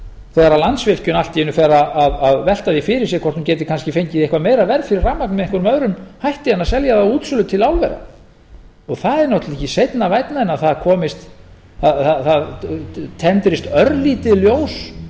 þegar landsvirkjun allt í einu fer að velta því fyrir sér hvort hún geti kannski fengið eitthvað meira verð fyrir rafmagnið með einhverjum öðrum hætti en að selja það á útsölu til álvera það er náttúrlega ekki seinna vænna en það tendrist örlítið ljós